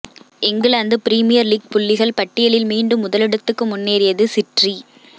England premier league புள்ளிகள் பட்டியலில் மீண்டும் முதலிடத்துக்கு முன்னேறியது சிற்றி